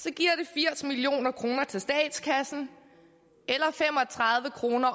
firs million kroner til statskassen eller fem og tredive kroner